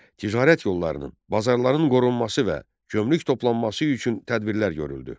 Ticarət yollarının, bazarların qorunması və gömrük toplanması üçün tədbirlər görüldü.